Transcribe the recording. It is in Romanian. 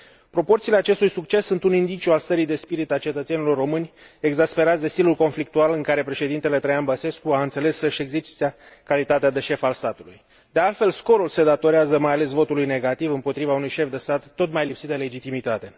Proporțiile acestui succes sunt un indiciu al stării de spirit a cetățenilor români, exasperați de stilul conflictual în care președintele Traian Băsescu a înțeles să și exercite calitatea de șef al statului. De altfel, scorul se datorează mai ales votului negativ împotriva unui șef de stat tot mai lipsit de legitimitate.